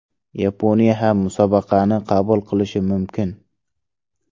Yaponiya ham musobaqani qabul qilishi mumkin.